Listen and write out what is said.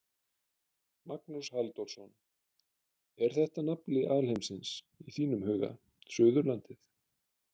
Magnús Halldórsson: Er þetta nafli alheimsins í þínum huga, Suðurlandið?